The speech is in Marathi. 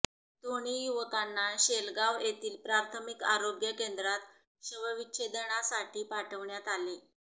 दोन्ही युवकांना शेलगाव येथील प्राथामिक आरोग्य केंद्रात शवविच्छेदनासाठी पाठवण्यात आले